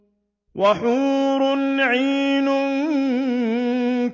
وَحُورٌ عِينٌ